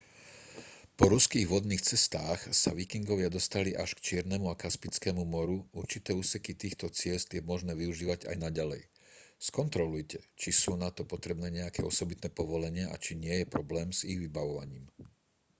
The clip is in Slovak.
po ruských vodných cestách sa vikingovia dostali až k čiernemu a kaspickému moru určité úseky týchto ciest je možné využívať aj naďalej skontrolujte či sú na to potrebné nejaké osobitné povolenia a či nie je problém s ich vybavovaním